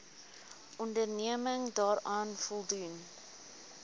onderneming daaraan voldoen